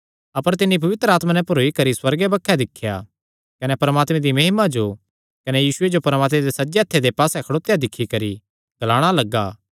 अपर तिन्नी पवित्र आत्मा नैं भरोई करी सुअर्गे बक्खे दिख्या कने परमात्मे दी महिमा जो कने यीशुये जो परमात्मे दे सज्जे हत्थे दे पास्से खड़ोत्या दिक्खी करी ग्लाणा लग्गा